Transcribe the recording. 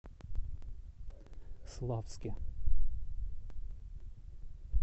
славске